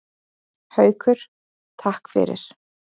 Haukur: Takk fyrir.